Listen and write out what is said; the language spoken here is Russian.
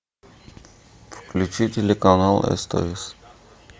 включи телеканал стс